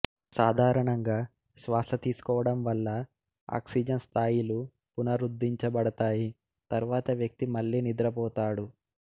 సాధారణంగా శ్వాస తీసుకోవడం వల్ల ఆక్సిజన్ స్థాయిలు పునరుద్ధరించబడతాయి తర్వాత వ్యక్తి మళ్ళీ నిద్రపోతాడు